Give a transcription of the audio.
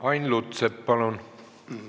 Ain Lutsepp, palun!